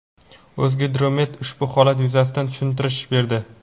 O‘zgidromet ushbu holat yuzasidan tushuntirish berdi.